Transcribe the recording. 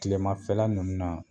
kilema fɛla nunnu na